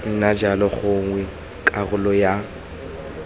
nna jalo gongwe karolo ya